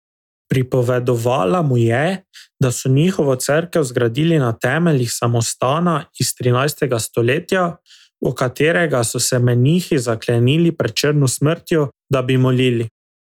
Pripovedovala mu je, da so njihovo cerkev zgradili na temeljih samostana iz trinajstega stoletja, v katerega so se menihi zaklenili pred črno smrtjo, da bi molili.